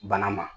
Bana ma